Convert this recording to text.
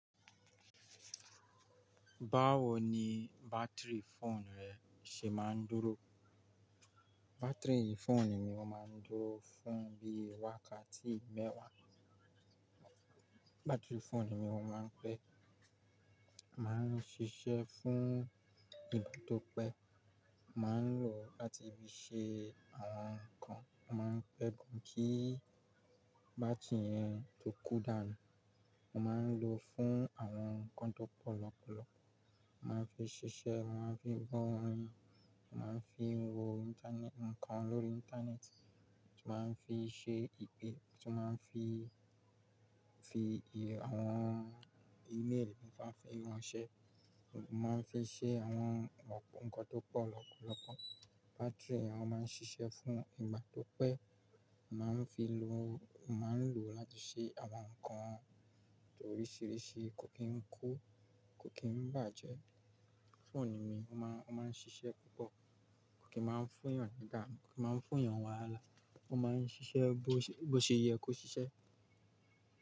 Báwo ni bátìrì fóònù rẹ ṣe máa ń dúró? Bátìrì fóònù mi ọ máa ń dúró fún bí i wákàtí mẹ́wàá. Bátìrì fóònù mi ọ máa ń pẹ́, máa ń ṣiṣẹ́ fún ìgbà tó pẹ́. Mo máa ń lò láti bí i ṣe àwọn nǹkan, mo máa ń pẹ́ gan kí bátìrì yẹn tó kú dànù. Mo máa ń lò fún àwọn nǹkan tó pọ̀ lọ́pọ̀lọpọ̀. Mo máa ń fi ṣiṣẹ́, mo máa ń fi gbọ́ orin, mo máa ń fi wo ìntanẹ́ẹ̀tì, nǹkan lórí ìntanẹ́ẹ̀tì. Mo máa ń fi ṣe ìpè, mo máa ń fi, fi ì, àwọn ímeèlì, mo máa ń fi wọn ṣẹ́. Mo máa ń fi ṣẹ́ àwọn nǹkan tó pọ̀ lọ́pọ̀lọpọ̀. Bátìrì wọn máa ń ṣiṣẹ́ fún ìgbà tó pẹ́. Mo máa ń fi lò, mo máa ń lò láti ṣe àwọn nǹkan tó oríṣiríṣi. Kò kí ń kú, kò kí ń bàjẹ́. Fóònù mi ó máa, ó máa ń ṣiṣẹ́ púpọ̀. Kò kí máa ń fúyàn nígbà mìíràn, kò kí máa ń fúyàn wàhálà. Ó máa ń ṣiṣẹ́ bó ṣe yẹ kó ṣiṣẹ́